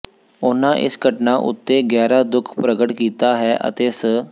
ਉਨ੍ਹਾਂ ਇਸ ਘਟਨਾ ਉਤੇ ਗਹਿਰਾ ਦੁੱਖ ਪ੍ਰਗਟ ਕੀਤਾ ਹੈ ਅਤੇ ਸ